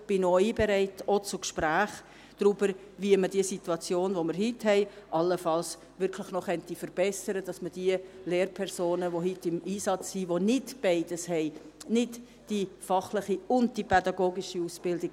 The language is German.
Dazu bin auch ich bereit, auch zu Gesprächen darüber, wie man die heutige Situation allenfalls wirklich noch verbessern könnte, indem man diejenigen Lehrpersonen stärken kann, die heute im Einsatz sind und nicht beides haben, nicht die fachliche und die pädagogische Ausbildung;